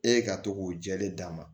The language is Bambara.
E ka to k'o jɛlen d'a ma